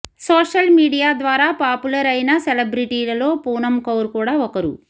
social media ద్వారా popular అయిన సెలెబ్రిటీలలో పూనమ్ కౌర్ కూడా ఒకరు